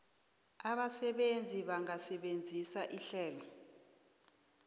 abasebenzi bangasebenzisa ihlelo